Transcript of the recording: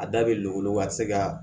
A da bɛ luw ka se ka